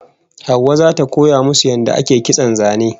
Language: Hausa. Hauwa zata koya musu yadda ake kitson zane